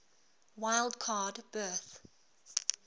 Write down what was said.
wild card berth